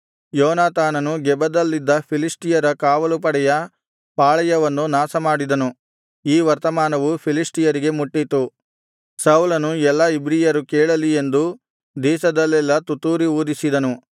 ಯೋನಾತಾನನು ಗೆಬದಲ್ಲಿದ್ದ ಫಿಲಿಷ್ಟಿಯರ ಕಾವಲುಪಡೆಯ ಪಾಳೆಯವನ್ನು ನಾಶಮಾಡಿದನು ಈ ವರ್ತಮಾನವು ಫಿಲಿಷ್ಟಿಯರಿಗೆ ಮುಟ್ಟಿತು ಸೌಲನು ಎಲ್ಲಾ ಇಬ್ರಿಯರು ಕೇಳಲಿ ಎಂದು ದೇಶದಲ್ಲೆಲ್ಲಾ ತುತ್ತೂರಿ ಊದಿಸಿದನು